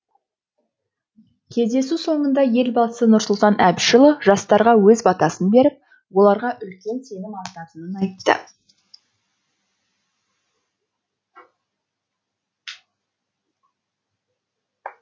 кездесу соңында елбасы нұрсұлтан әбішұлы жастарға өз батасын беріп оларға үлкен сенім артатынын айтты